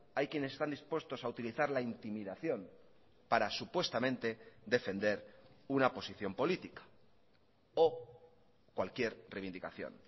hay quienes están dispuestos a utilizar la intimidación para supuestamente defender una posición política o cualquier reivindicación